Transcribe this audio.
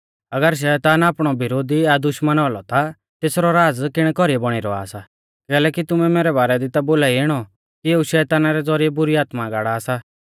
अगर शैतान आपणौ विरोधी या दुश्मना औलौ ता तेसरौ राज़ किणै कौरीऐ बौणी रौआ सा कैलैकि तुमै मैरै बारै दी ता बोलाई इणौ कि एऊ शैताना रै ज़ौरिऐ बुरी आत्मा गाड़ा सा